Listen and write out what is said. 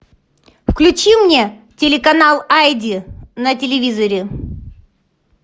включи мне телеканал айди на телевизоре